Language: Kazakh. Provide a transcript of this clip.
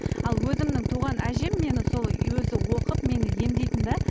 ал өзімнің туған әжем мені сол өзі оқып мені емдейтін де